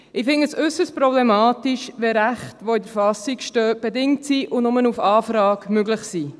Ich finde es äusserst problematisch, wenn Rechte, die in der Verfassung stehen, bedingt sind und nur auf Anfrage möglich sind.